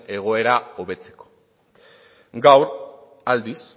egoera hobetzeko gaur aldiz